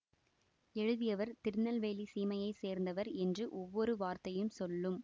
எழுதியவர் திருநெல்வேலிச் சீமையைச் சேர்ந்தவர் என்று ஒவ்வொரு வார்த்தையும் சொல்லும்